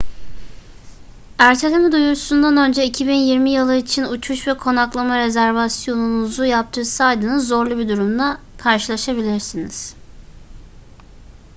erteleme duyurusundan önce 2020 yılı için uçuş ve konaklama rezervasyonunuzu yaptırdıysanız zorlu bir durumla karşılaşabilirsiniz